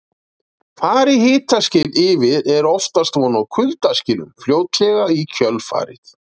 Fari hitaskil yfir er oftast von á kuldaskilum fljótlega í kjölfarið.